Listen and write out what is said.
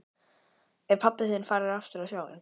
Er pabbi þinn farinn aftur á sjóinn?